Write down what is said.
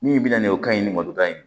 Min bɛna nin o kaɲi ni mɔtan ye